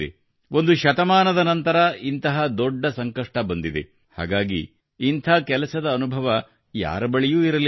ಒಂದು ಶತಮಾನದ ನಂತರ ಇಂಥ ದೊಡ್ಡ ಸಂಕಷ್ಟ ಬಂದಿದೆ ಹಾಗಾಗಿ ಇಂಥ ಕೆಲಸದ ಅನುಭವ ಯಾರ ಬಳಿಯೂ ಇರಲಿಲ್ಲ